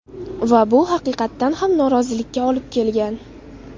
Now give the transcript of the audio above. Va bu haqiqatan ham norozilikka olib kelgan.